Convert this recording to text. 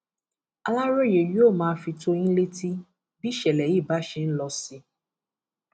aláròye yóò máa fi tó yín létí bí ìṣẹlẹ yìí bá ṣe ń lọ sí